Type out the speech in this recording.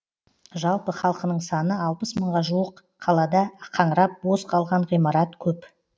жалпы халқының саны алпыс мыңға жуық қалада қаңырап бос қалған ғимарат көп